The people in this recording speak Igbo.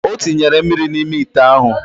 Otinyere mmiri na ime ite ahu.